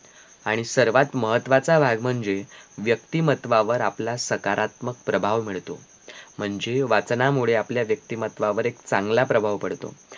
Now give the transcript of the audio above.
आणि सर्वात महत्वाचा भाग म्हणजे व्यक्तीमत्त्वावर आपला सकारात्मक प्रभाव मिळतो म्हणजे वाचनामुळे आपल्या व्यक्तीमत्त्वावर चांगला प्रभाव पडतो